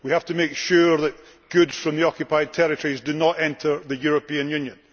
We have to make sure that goods from the Occupied Territories do not enter the European Union.